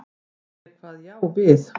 Ég kvað já við.